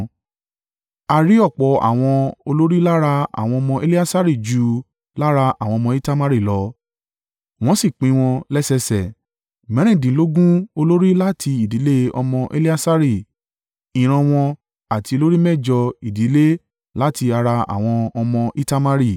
A rí ọ̀pọ̀ àwọn olórí lára àwọn ọmọ Eleasari ju lára àwọn ọmọ Itamari lọ, wọ́n sì pín wọn lẹ́sẹ lẹ́sẹ: mẹ́rìndínlógún olórí láti ìdílé ọmọ Eleasari ìran wọn àti olórí méjọ ìdílé láti ara àwọn ọmọ Itamari.